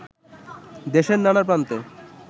দেশের নানা প্রান্তে